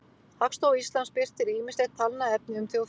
Hagstofa Íslands birtir ýmislegt talnaefni um þjóðfélagið.